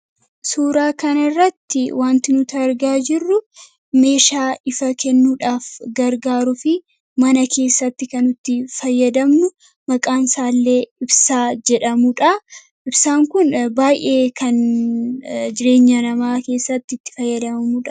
Suuraa kanirratti wanti nuti argaa jirru meeshaa ifaa kennuudhaaf gargaaruu fi mana keessatti kanutti fayyadamnu maqaan isaallee ibsaa jedhamudha. Ibsaan kun baay'ee kan jireenya namaa keessattitti fayyadamanuudha.